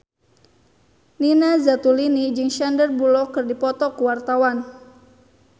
Nina Zatulini jeung Sandar Bullock keur dipoto ku wartawan